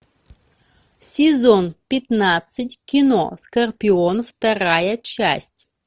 сезон пятнадцать кино скорпион вторая часть